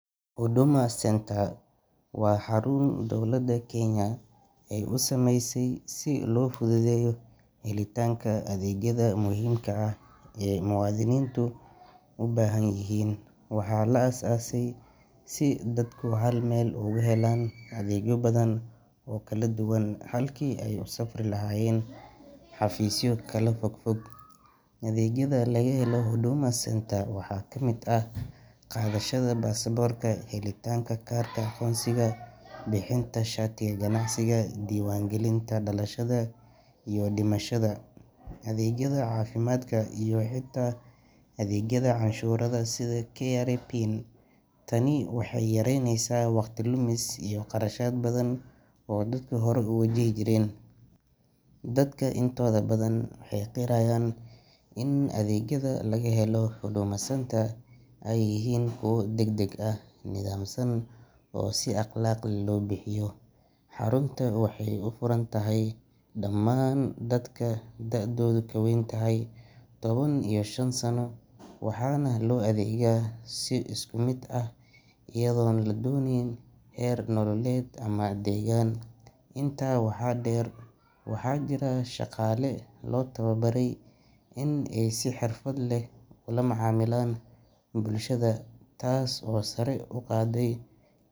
Huduma Centre waa xarun dowladda Kenya ay u sameysay si loo fududeeyo helitaanka adeegyada muhiimka ah ee muwaadiniintu u baahan yihiin. Waxaa la aasaasay si ay dadku hal meel uga helaan adeegyo badan oo kala duwan, halkii ay u safri lahaayeen xafiisyo kala fog fog. Adeegyada laga helo Huduma Centre waxaa ka mid ah qaadashada baasaboorka, helitaanka kaarka aqoonsiga, bixinta shatiga ganacsiga, diiwaangelinta dhalashada iyo dhimashada, adeegyada caafimaadka, iyo xitaa adeegyada canshuuraha sida KRA PIN. Tani waxay yaraynaysaa waqti lumis iyo qarashaad badan oo dadka horay u wajihi jireen. Dadka intooda badan waxay qirayaan in adeegyada laga helo Huduma Centre ay yihiin kuwo degdeg ah, nidaamsan oo si akhlaaq leh loo bixiyo. Xarunta waxay u furan tahay dhammaan dadka da'doodu ka weyn tahay toban iyo shan sano, waxaana loo adeegaa si isku mid ah iyadoon loo eegayn heer nololeed ama deegaan. Intaa waxaa dheer, waxaa jira shaqaale loo tababaray in ay si xirfad leh ula macaamilaan bulshada, taas oo sare u qaaday kalsoonida.